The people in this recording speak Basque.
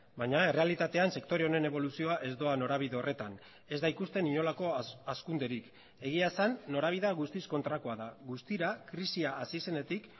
baina errealitatean sektore honen eboluzioa ez doa norabide horretan ez da ikusten inolako hazkunderik egia esan norabidea guztiz kontrakoa da guztira krisia hasi zenetik